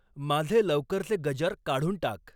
माझे लवकरचे गजर काढून टाक.